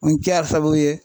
sababu ye